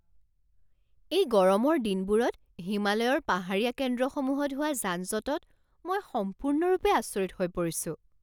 এই গৰমৰ দিনবোৰত হিমালয়ৰ পাহাৰীয়া কেন্দ্ৰসমূহত হোৱা যানজঁটত মই সম্পূৰ্ণৰূপে আচৰিত হৈ পৰিছোঁ!